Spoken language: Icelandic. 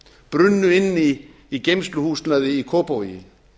brunnu inni í geymsluhúsnæði í kópavogi